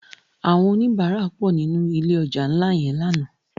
Àwòn ónibàrá pò ninú ilé òjá nlá yèn làná